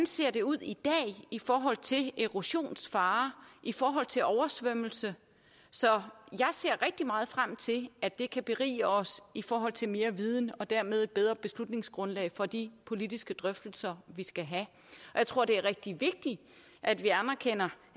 ser ud i dag i forhold til erosionsfare i forhold til oversvømmelse så jeg ser rigtig meget frem til at det kan berige os i forhold til mere viden og dermed et bedre beslutningsgrundlag for de politiske drøftelser vi skal have og jeg tror det er rigtig vigtigt at vi anerkender